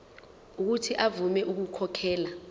uuthi avume ukukhokhela